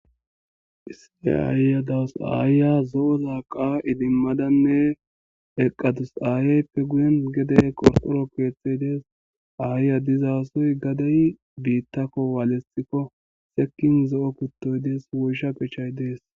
Isssi aayya dawus aayya zo'o laqa idimmadanne eqqadus aayeyppe guyen gedey qorxoro keethey dees aayya dizaasoy gadey biittakko waalesxikko sekin zo'o kuttoy dees woysha pechay dees.